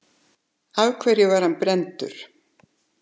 Af hverju var hann brenndur?